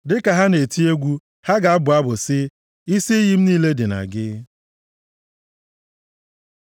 Dịka ha na-eti egwu, ha ga-abụ abụ sị, “Isi iyi m niile dị na gị.”